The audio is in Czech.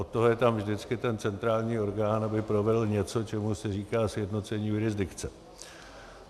Od toho je tam vždycky ten centrální orgán, aby provedl něco, čemu se říká sjednocení jurisdikce.